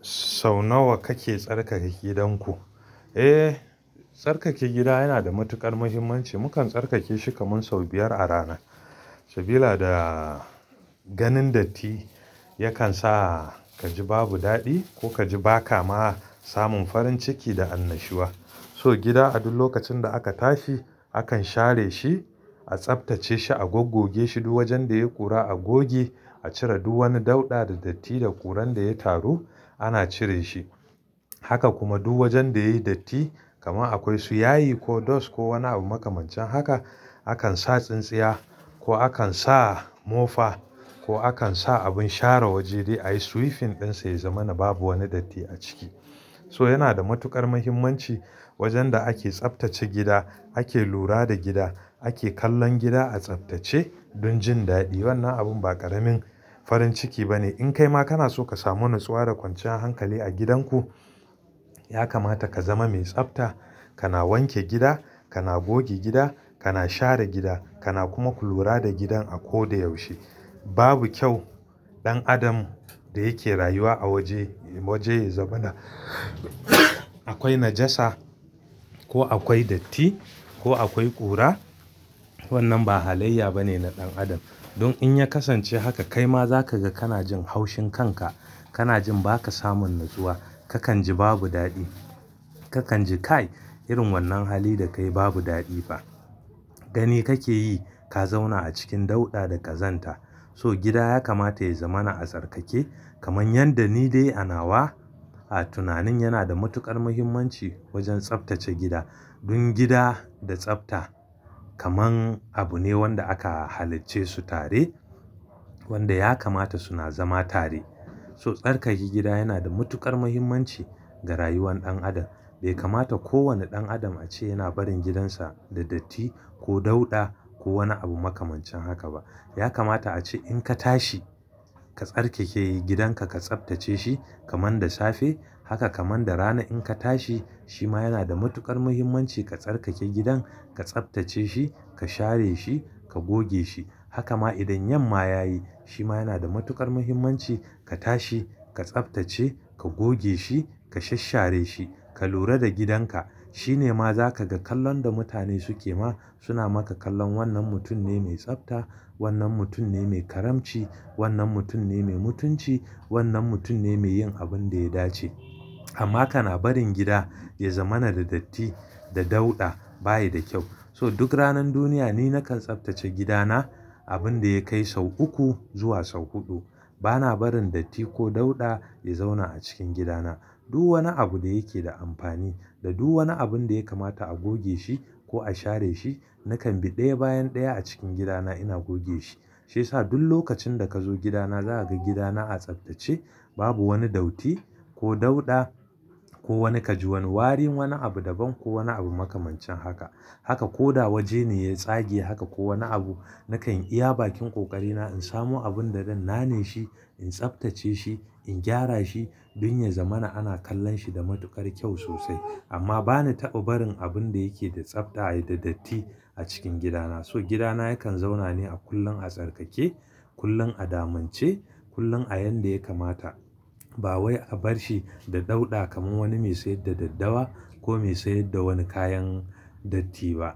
Sau nawa kake tsarkake gidanku? Eh, tsarkake gida yana da matuƙar muhimmanci. Mukan tsarkake shi kamar sau biyar a rana. Sabida ganin datti yakan sa ka ji babu daɗi ko ka ji ba ka ma samun farin ciki da annashuwa. So gida a duk lokacin da aka tashi, akan share shi, a tsaftace shi, a gogogge shi. Duk wajen da yayi ƙura a goge, a cire. Duk wani dauɗa da datti da ƙuran da ya taru ana cire shi. Haka kuma duk wajen da yayi datti kamar akwai suyayi ko dust ko wani abu makamancin haka, akan sa tsintsiya ko akan sa mofa ko akan sa abin share waje dai a yi sweeping ɗinsa ya zama na babu wani datti a ciki. So yana da matuƙar muhimmanci wajen da ake tsaftace gida, ake lura da gida, ake kallon gida a tsaftace don jin daɗi. Wannan abu ba ƙaramin farin ciki bane. In kai ma kana so ka samu natsuwa da kwanciyar hankali a gidanku, ya kamata ka zama mai tsafta. Kana wanke gida, kana goge gida, kana share gida, kana kuma kulura da gidan a ko da yaushe. Babu kyau ɗan adam da yake rayuwa a waje, waje ya zama na akwai najasa ko akwai datti ko akwai ƙura. Wannan ba halayya bane na ɗan adam. Don in ya kasance haka, kai ma za ka ga kana jin haushin kanka, kana jin ba ka samun natsuwa, kakan ji babu daɗi. Kakan ji kai irin wannan hali da kai babu daɗi ba. Gani kake yi ka zauna a cikin dauɗa da ka zanta. So gida ya kamata ya zama na a tsarkake. Kaman yadda ni dai ana wa, a tunanin yana da matuƙar muhimmanci wajen tsaftace gida. Don gida da tsafta kaman abu ne wanda aka halice su tare, wanda ya kamata suna zama tare. So tsarkake gida yana da matuƙar muhimmanci ga rayuwar ɗan adam. Bai kamata kowane ɗan adam a ce yana barin gidansa da datti ko dauɗa ko wani abu makamancin haka ba. Ya kamata a ce in ka tashi, ka tsarkake gidanka, ka tsaftace shi kaman da safe. Haka kamar da rana in ka tashi, shi ma yana da matuƙar muhimmanci ka tsarkake gidan, ka tsaftace shi, ka share shi, ka goge shi. Haka ma idan yamma ya yi, shi ma yana da matuƙar muhimmanci. Ka tashi, ka tsaftace, ka goge shi, ka shashshare shi, ka lura da gidanka. Shi ne ma za ka ga kallon da mutane suke ma. Suna maka kallon wannan mutum ne mai tsafta, wannan mutum ne mai karamci, wannan mutum ne mai mutunci, wannan mutum ne mai yin abin da ya dace. Amma kana barin gida ya zama na da datti da dauɗa baya da kyau. So duk ranan duniya, ni nakan tsaftace gidana abin da ya kai sau uku zuwa sau huɗu. Bana barin datti ko dauɗa ya zauna a cikin gidana. Duk wani abu da yake da amfani da duk wani abun da ya kamata a goge shi ko a share shi, nakan bi ɗaya bayan ɗaya a cikin gidana ina goge shi. Shi ya sa duk lokacin da ka zo gidana za ka ga gidana a tsaftace. Babu wani dauti ko dauɗa ko wani ka ji wani warin wani abu daban ko wani abu makamancin haka. Haka ko da waje ne ya tsage haka ko wani abu, nakan iya bakin ƙoƙarina in samo abun da zan nane shi, in tsaftace shi, in gyara shi don ya zama na ana kallon shi da matuƙar kyau sosai. Amma bani taɓa barin abun da yake da tsafta ya yi da datti a cikin gidana. So gidana yakan zauna ne a kullum a tsarkake, kullum a damance, kullum a yanda ya kamata. Ba wai a bar shi da dauɗa kamar wani mai sayar da daddawa ko mai sayar da wani kayan datti ba.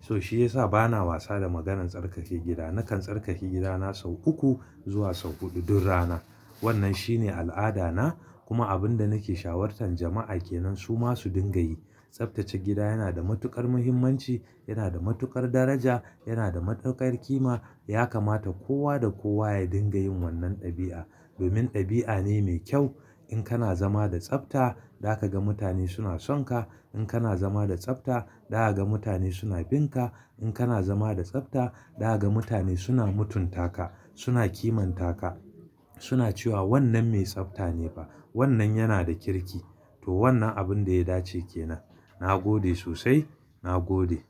So shi ya sa bana wasa da maganan tsarkake gida. Nakan tsarkake gidana sau uku zuwa sau huɗu duk rana. Wannan shine al'ada na kuma abin da nake shawartan jama'a ke nan su ma su dinga yi. Tsaftace gida yana da matuƙar muhimmanci, yana da matuƙar daraja, yana da matuƙar ƙima. Ya kamata kowa da kowa ya dinga yin wannan ɗabi'a. Domin ɗabi'a ne mai kyau. In kana zama da tsafta, za ka ga mutane suna sonka. In kana zama da tsafta, za ka ga mutane suna bin ka. In kana zama da tsafta, za ka ga mutane suna mutunta ka, suna kimanta ka. Suna cewa wannan mai tsafta ne fa. Wannan yana da kirki. To wannan abun da ya dace ke nan. Na gode sosai, na gode.